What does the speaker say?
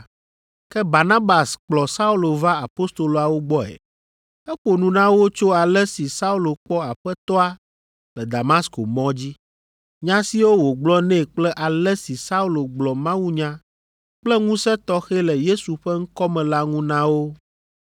Ke Barnabas kplɔ Saulo va apostoloawo gbɔe. Eƒo nu na wo tso ale si Saulo kpɔ Aƒetɔa le Damasko mɔ dzi, nya siwo wògblɔ nɛ kple ale si Saulo gblɔ mawunya kple ŋusẽ tɔxɛ le Yesu ƒe ŋkɔ me la ŋu na wo.